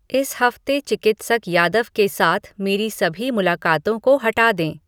इस हफ्ते चिकित्सक यादव के साथ मेरी सभी मुलाकातों को हटा दें